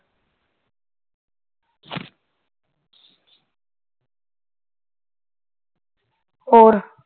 ਹੋਰ